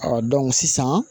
sisan